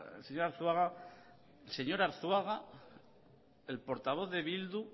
el señor arzuaga el portavoz de bildu